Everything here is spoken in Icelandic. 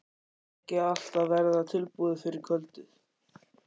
Er ekki allt að verða tilbúið fyrir kvöldið?